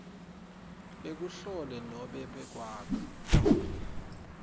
bekuhlela nobe kwakha